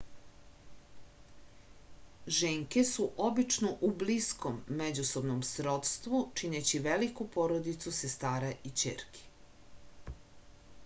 ženke su obično u bliskom međusobnom srodstvu čineći veliku porodicu sestara i ćerki